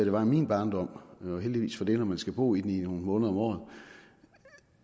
var i min barndom og heldigvis for det når man skal bo i dem i nogle måneder om året